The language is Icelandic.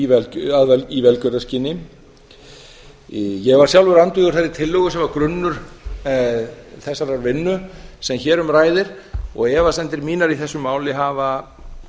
staðgöngumæðrun í velgjörðarskyni ég var sjálfur andvígur þeirri tillögu sem var grunnur þessarar vinnu sem hér um ræðir og efasemdir mínar í þessu máli hafa